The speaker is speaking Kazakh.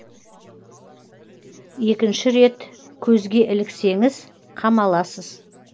екінші рет көзге іліксеңіз қамаласыз